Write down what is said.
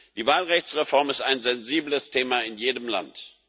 Die Wahlrechtsreform ist ein sensibles Thema in jedem Land.